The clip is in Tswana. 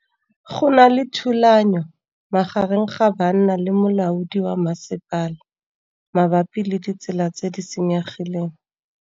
Go na le thulanô magareng ga banna le molaodi wa masepala mabapi le ditsela tse di senyegileng.